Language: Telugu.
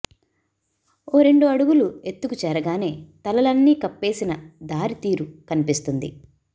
ఓ రెండు అడుగులు ఎత్తుకు చేరగానే తలలన్నీ కప్పేసిన దారితీరు కనిపిస్తుంది